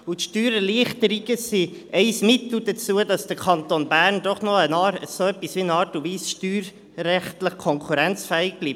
Und die Steuererleichterungen sind ein Mittel dazu, dass der Kanton Bern doch noch auf eine Art und Weise steuerrechtlich konkurrenzfähig bleibt.